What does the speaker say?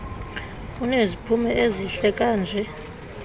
uneziphumo ezihle kanje